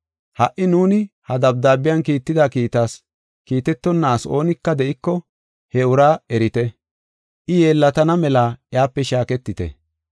Ha77i nuuni ha dabdaabiyan kiitida kiittas kiitetonna asi oonika de7iko he uraa erite. I yeellatana mela iyape shaaketite.